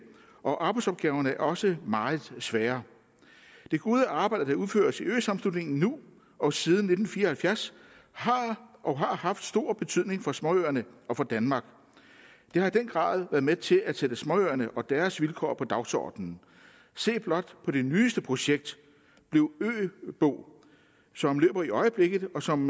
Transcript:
og arbejdsopgaverne er også meget svære det gode arbejde der udføres i øsammenslutningen nu og siden nitten fire og halvfjerds har og har haft stor betydning for småøerne og for danmark det har i den grad været med til at sætte småøerne og deres vilkår på dagsordenen se blot på det nyeste projekt bliv øbo som løber i øjeblikket og som